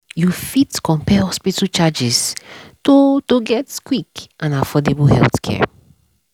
you fit compare hospital charges to to get quick and affordable healthcare.